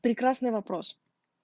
прекрасный вопрос